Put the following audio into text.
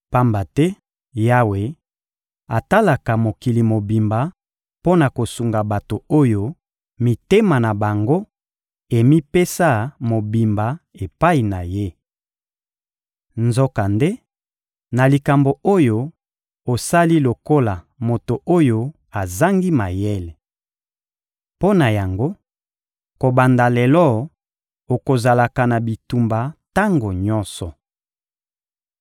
Pamba te Yawe atalaka mokili mobimba mpo na kosunga bato oyo mitema na bango emipesa mobimba epai na Ye. Nzokande, na likambo oyo, osali lokola moto oyo azangi mayele. Mpo na yango, kobanda lelo, okozalaka na bitumba tango nyonso.